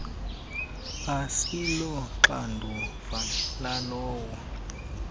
asilo xanduva lalowo